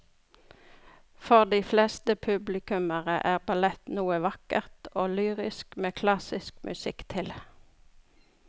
For de fleste publikummere er ballett noe vakkert og lyrisk med klassisk musikk til.